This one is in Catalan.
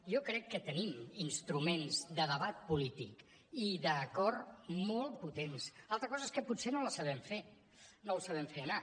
jo crec que tenim instruments de debat polític i d’acord molt potents altra cosa és que potser no els sabem fer anar